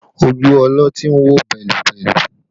Ojú ọlọ́tí ń wò bẹ́lúbẹ́lú